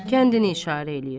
Kəndini işarə eləyir.